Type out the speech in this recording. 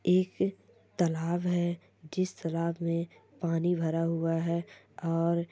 एक तालाब है जिस तालाब में पानी भरा हुआ है और--